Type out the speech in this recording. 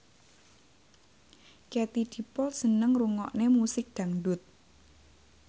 Katie Dippold seneng ngrungokne musik dangdut